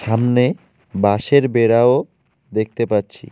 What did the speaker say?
সামনে বাঁশের বেঁড়াও দেখতে পাচ্ছি।